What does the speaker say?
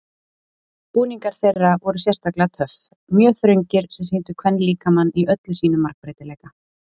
Búningar þeirra voru sérstaklega töff, mjög þröngir sem sýndu kvenlíkamann í öllum sínum margbreytileika.